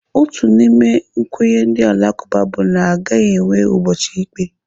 Otu n'ime nkwenye ndị Alakụba bụ na aga enwe ụbọchị ikpe.